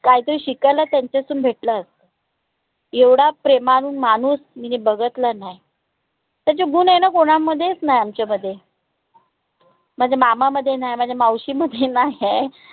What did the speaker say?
काही तरी शिकायला त्यांच्यातून भेटलं असत. एवढा प्रेमान मानूस मिन बघतला न्हाय त्याचे गुन आय न कोणामध्येच नाय आमच्या मध्ये माझ्या मामामध्ये नाय माझ्या मावशीमध्ये नाहीय